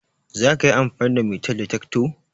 zakayi amfani da metal detector?